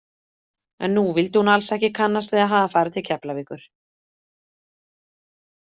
En nú vildi hún alls ekki kannast við að hafa farið til Keflavíkur.